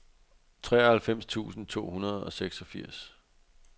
treoghalvfems tusind to hundrede og seksogfirs